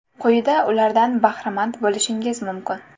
Quyida ulardan bahramand bo‘lishingiz mumkin.